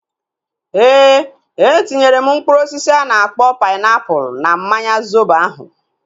Ee, etinyere m mkpụrụ osisi a na-akpọ painiapulu na mmanya zobo ahu